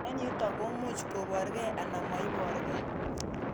Eng' yutok ko muchi koporkei anan moiporkei